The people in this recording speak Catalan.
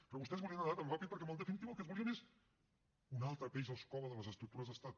però vostès volien anar tan ràpid perquè en definitiva el que es volia és un altre peix al cove de les estructures d’estat